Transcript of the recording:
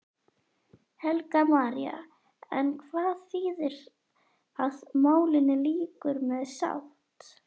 Helga María: En hvað þýðir að málinu lýkur með sátt?